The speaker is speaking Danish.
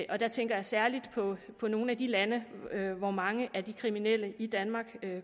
og der tænker jeg særligt på nogle af de lande hvor mange af de udenlandske kriminelle i danmark